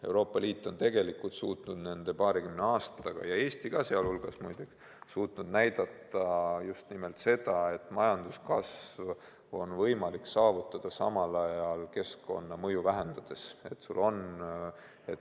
Euroopa Liit, sh Eesti, on suutnud nende paarikümne aastaga näidata just nimelt seda, et majanduskasvu on võimalik saavutada keskkonnamõju samal ajal vähendades.